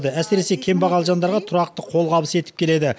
әсіресе кембағал жандарға тұрақты қолғабыс етіп келеді